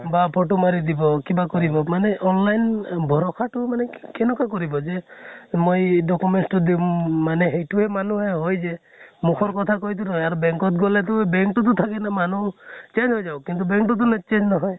বা photo মাৰি দিব কিবা কৰিব মানে online ভৰসা তো মানে কেনুকা কৰিবা যে মই documents টো দিম মানে সেইটোয়ে মানুহে হয় যে মুখৰ কথা কৈ টো আৰ bank ত গলে টো bank কটো তো থাকে ন মানুহ change হৈ যাব কিন্তু bank টোতো change নহয়।